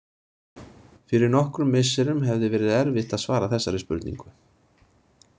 Fyrir nokkrum misserum hefði verið erfitt að svara þessari spurningu.